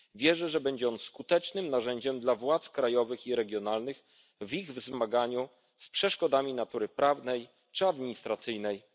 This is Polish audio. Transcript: transgranicznych. Wierzę, że będzie on skutecznym narzędziem dla władz krajowych i regionalnych w zmaganiu się z przeszkodami natury prawnej czy administracyjnej na granicach.